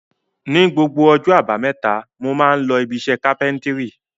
Ni gbogbo ọjọ́ àbámẹ́ta mo máa ń lọ ibiṣẹ́ kápẹ́ńtírì.